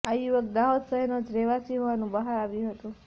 આ યુવક દાહોદ શહેરનો જ રહેવાસી હોવાનુ બહાર આવ્યુ હતુ